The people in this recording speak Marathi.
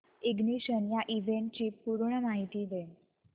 इग्निशन या इव्हेंटची पूर्ण माहिती दे